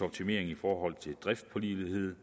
optimering i forhold til driftpålideligheden